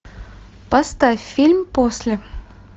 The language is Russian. поставь фильм после